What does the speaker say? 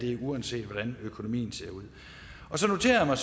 er uanset hvordan økonomien ser ud så noterer jeg mig